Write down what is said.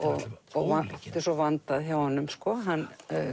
ólíkindum svona vandað hjá honum og hann